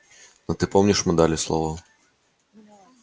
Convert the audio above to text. но ты помнишь мы дали слово